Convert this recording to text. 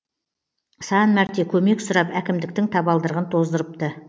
сан мәрте көмек сұрап әкімдіктің табалдырығын тоздырыпты